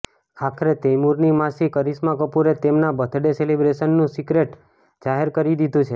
આખરે તૈમૂરની માસી કરિશ્મા કપૂરે તેમના બર્થડે સેલિબ્રેશનનું સિક્રેટ જાહેર કરી દીધું છે